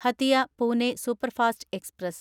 Hatia Pune superfast express